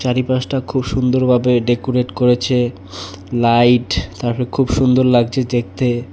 চারিপাশটা খুব সুন্দর ভাবে ডেকুরেট করেছে লাইট তারপরে খুব সুন্দর লাগছে দেখতে।